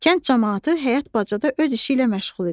Kənd camaatı həyət bacada öz işi ilə məşğul idi.